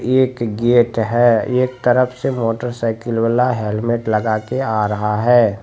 एक गेट है एक तरफ से मोटर साइकिल वाला हेलमेट लगा के आ रहा है।